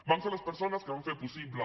vam ser les persones que vam fer possible